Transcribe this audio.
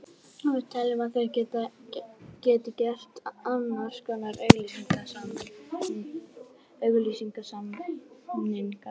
Við teljum að þeir geti gert annars konar auglýsingasamninga.